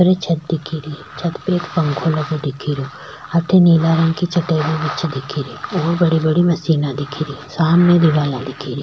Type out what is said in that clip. एक छत दिखे री छत पे एक पंखो लगो दिखे रो अठे नीला रंग की चटाइयां बिछे दिख री और बड़ी बड़ी मशीना दिखे री सामने दिवाला दिखे री।